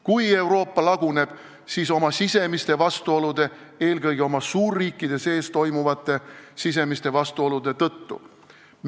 Kui Euroopa Liit laguneb, siis oma sisemiste vastuolude, eelkõige suurriikide sees olevate sisemiste vastuolude tõttu.